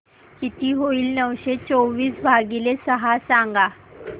किती होईल नऊशे चोवीस भागीले सहा सांगा